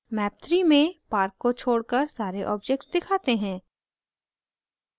map 3 में park को छोड़कर सारे objects दिखाते हैं